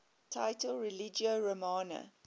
title religio romana